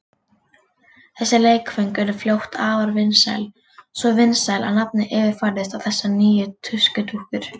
Þessi leikföng urðu fljótt afar vinsæl, svo vinsæl að nafnið yfirfærðist á þessar nýju tuskudúkkur.